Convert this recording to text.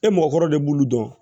E mɔgɔkɔrɔba de b'olu dɔn